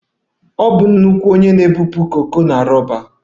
Ọ bụ nnukwu onye na-ebupụ koko na roba